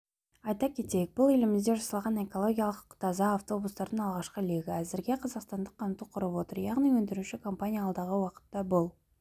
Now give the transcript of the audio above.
айта кетейік бұл елімізде жасалған экологиялық таза автобустардың алғашқы легі әзірге қазақстандық қамту құрап отыр яғни өндіруші компания алдағы уақытта бұл